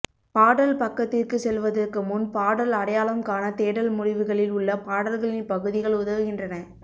பாடல் பக்கத்திற்குச் செல்வதற்கு முன் பாடல் அடையாளம் காண தேடல் முடிவுகளில் உள்ள பாடல்களின் பகுதிகள் உதவுகின்றன